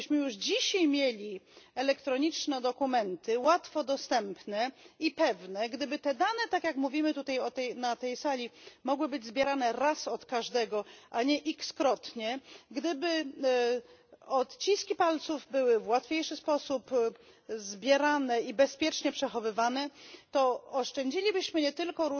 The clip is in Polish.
Gdybyśmy już dzisiaj mieli elektroniczne dokumenty, łatwo dostępne i pewne, gdyby te dane, tak jak mówimy na tej sali, mogły być zbierane raz od każdego, a nie wielokrotnie, gdyby odciski palców były w łatwiejszy sposób zbierane i bezpiecznie przechowywane, to oszczędzilibyśmy nie tylko